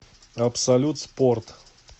абсолют спорт